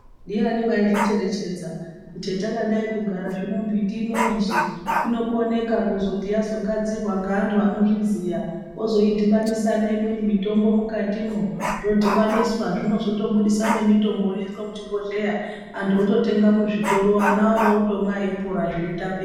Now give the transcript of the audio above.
Ndiani waizvicherechedza kuti hetakadai kugara zvino mbiti ino yeshe inokoneka kuzoti yazogadzirwa ngevantu vanoiziya vozoidhibanisa neimweni mitombo mukatimwo zvodhibaniswa zvinozotobudisa nemitombo inoiswe muzvibhodhleya antu ototenga muzvitoro ana orotomwa veipora zveitapira.